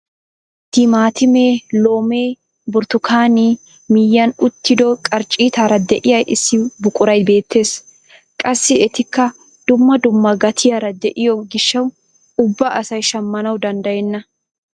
Timaatimee, loomee birttukkaanee miyiyaan uttido qarcciitara de'iyaa issi buquray beettees. Qassi etikka dumma dumma gatiyaara de'iyo giishshawu ubba asay shammanawu dandayenna.